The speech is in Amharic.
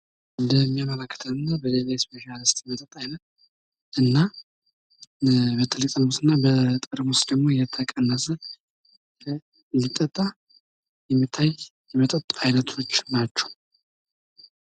በምስሉ ላይ የምናየው የበደሌ እስፔሻል የመጠጥ አይነት ሲሆን፤ በበደሌ ጥርሙስና በሌላ ጠርሙስ ተቀንሶ የሚጠጣና የሚታይ የመጠጥ አይነት ነው።